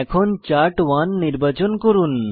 এখন চার্ট1 নির্বাচন করুন